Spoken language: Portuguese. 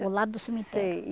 O lado do cemitério.